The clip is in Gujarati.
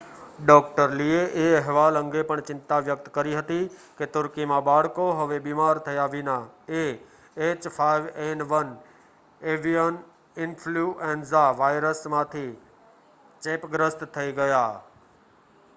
ડૉ. લીએ એ અહેવાલો અંગે પણ ચિંતા વ્યક્ત કરી હતી કે તુર્કીમાં બાળકો હવે બીમાર થયા વિના એએચ5એન1 એવિયન ઇન્ફલ્યુએન્ઝા વાયરસથી ચેપગ્રસ્ત થઈ ગયા